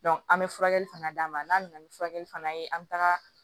an bɛ furakɛli fana d'a ma n'a nana ni furakɛli fana ye an bɛ taga